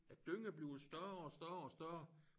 Æ dynge bliver større og større og større